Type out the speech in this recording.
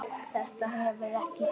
Þetta hefur ekki gengið upp.